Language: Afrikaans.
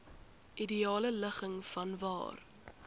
ideale ligging vanwaar